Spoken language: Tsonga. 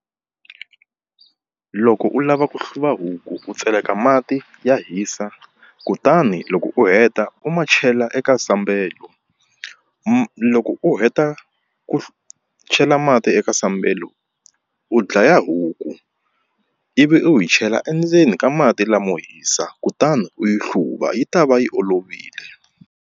Loko u lava ku hluva huku u tseleka mati ya hisa kutani loko u heta u ma chela eka sambelo loko u heta ku chela mati eka sambalo u dlaya huku ivi u yi chela endzeni ka mati lamo hisa kutani u yi hluva yi ta va yi olovile.